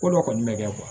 Ko dɔ kɔni bɛ kɛ